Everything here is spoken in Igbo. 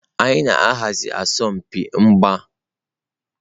Anyị na-ahazi asọmpi mgba maka mmemme ji ọhụrụ nke afọ na-abịa.